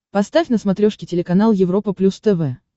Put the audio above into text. поставь на смотрешке телеканал европа плюс тв